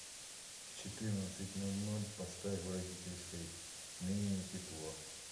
в четырнадцать ноль ноль поставь в родительской менее тепло